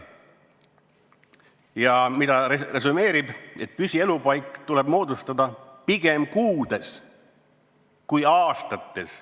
Ja ta resümeerib: püsielupaik tuleb moodustada pigem kuudes kui aastates.